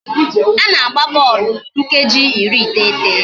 A na-agba bọọlụ nkeji iri iteghete